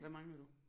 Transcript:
Hvad mangler du